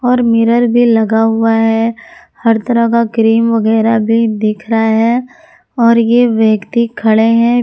और मिरर भी लगा हुआ है हर तरह का क्रीम वगेरा भी दिख रहा है और ये व्यक्ति खड़े हैं।